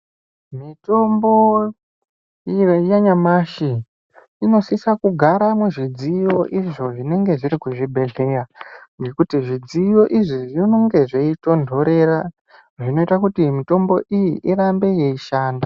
Mitombo iyo yanyamashi inosisa kugara muzvidziyo izvo zvinenge zviri kuzvibhedhleya nekuti zvidziyo idzi zvinonge zveyitonderera zvinoita kuti mitombo iyi irambe yeishanda.